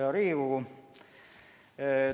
Hea Riigikogu!